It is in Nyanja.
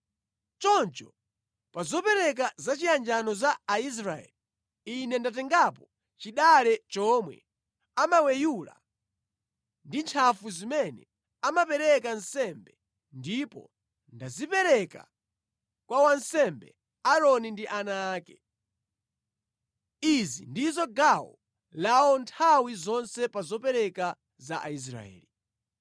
Choncho pa zopereka zachiyanjano za Aisraeli, Ine ndatengapo chidale chomwe amaweyula ndi ntchafu zimene amapereka nsembe ndipo ndazipereka kwa wansembe Aaroni ndi ana ake. Izi ndizo gawo lawo nthawi zonse pa zopereka za Aisraeli.”